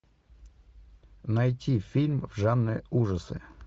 найти фильм в жанре ужасы